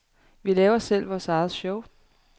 Vi laver selv vores eget show.